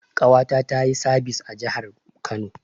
Ƙawata tayi sabis a jahar Kano